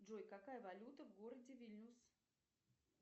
джой какая валюта в городе вильнюс